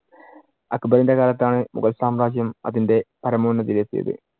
അക്ബറിന്‍റെ കാലത്താണ് മുഗൾ സാമ്രാജ്യം അതിന്‍റെ പരമോന്നതിയിൽ എത്തിയത്.